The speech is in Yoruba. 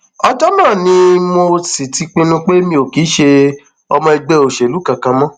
ọjọ náà ni mo sì ti pinnu pé mi ò kì í ṣe ọmọ ẹgbẹ òṣèlú kankan mọ